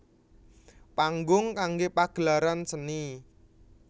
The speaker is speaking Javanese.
Panggung kanggé pagelaran seni